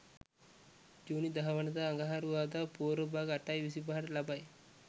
ජුනි 10 වන දා අඟහරුවාදා පූර්ව භාග 8.25 ට ලබයි.